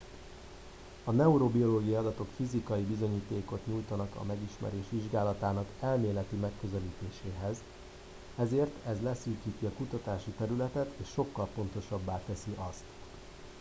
a neurobiológiai adatok fizikai bizonyítékot nyújtanak a megismerés vizsgálatának elméleti megközelítéséhez ezért ez leszűkíti a kutatási területet és sokkal pontosabbá teszi azt